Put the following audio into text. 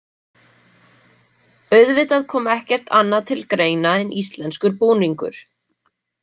Auðvitað kom ekkert annað til greina en íslenskur búningur.